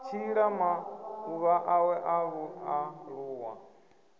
tshila maḓuvha awe a vhualuwa